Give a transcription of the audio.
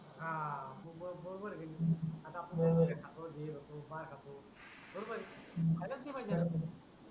हा तु बरोबर आहे आता आपण बरोबर आहे हे खातो ते खातो मास खातो बरोबर आहे हो खालच नाही पाहिजे